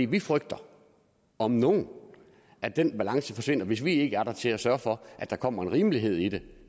vi frygter om nogen at den balance forsvinder hvis vi ikke er der til at sørge for at der kommer en rimelighed i det